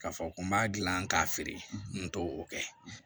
K'a fɔ ko n b'a dilan k'a feere n t'o kɛ